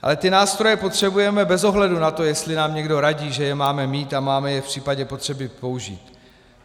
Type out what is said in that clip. Ale ty nástroje potřebujeme bez ohledu na to, jestli nám někdo radí, že je máme mít a máme je v případě potřeby použít.